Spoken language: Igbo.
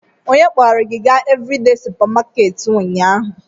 Onye kpọrọ gị gaa Evridee supamakeeti ụnyaahụ?